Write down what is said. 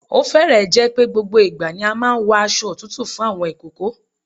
Ó fẹ́rẹ̀ẹ́ jẹ́ pé gbogbo ìgbà ni a máa ń wọ aṣo òtútù fún àwọn ìkókó.